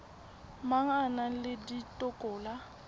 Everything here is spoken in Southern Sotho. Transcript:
mang a na le dikotola